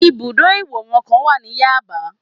Ibùdó ìwòran kan wà ní Yaba